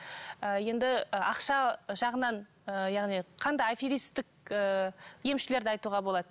ы енді ы ақша жағынан ы яғни қандай аферистік ы емшілерді айтуға болады